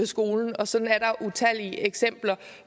skole og sådan er der utallige eksempler